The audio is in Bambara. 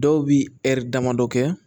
Dɔw bi damadɔ kɛ